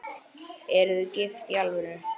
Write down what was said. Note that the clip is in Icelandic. Eruð þið gift í alvöru?